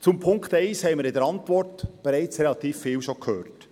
Zu Punkt 1 haben wir in der Antwort schon bereits relativ viel gehört.